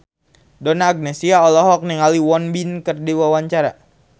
Donna Agnesia olohok ningali Won Bin keur diwawancara